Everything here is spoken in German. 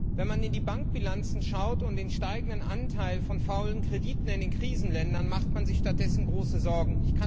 Wenn man in die Bankbilanzen schaut und den steigenden Anteil von faulen Krediten in den Krisenländern sieht, macht man sich jedoch große Sorgen.